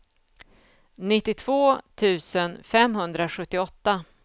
nittiotvå tusen femhundrasjuttioåtta